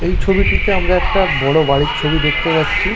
এই ছবিটিতে আমরা একটা বড় বাড়ির ছবি দেখতে পাচ্ছি।